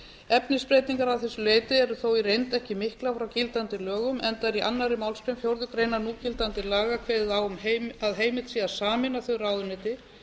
efnisbreytingar að þessu leyti eru þó í reynd ekki miklar frá gildandi lögum enda er í annarri málsgrein fjórðu grein núgildandi laga kveðið á um að heimilt sé að sameina þau ráðuneyti